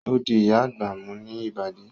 O di Ìyá àgbà mú ní Ìbàdí